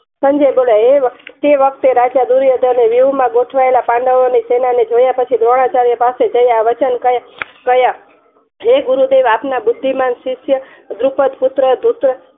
સંજય બોલે તે વખતે રાજા દુર્યોધન વ્યુ માં ગોઠવાયેલા પાંડવોને સેનાને જોયા પછી દ્રોણાચાર્ય ના પાસે ગયા હે ગુરુદેવ આપના બુદ્ધિમાન શિષ્ય દ્રુપત પુત્ર